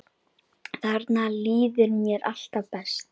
Þarna líður mér alltaf best.